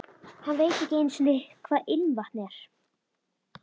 Hann veit ekki einu sinni hvað ilmvatn er.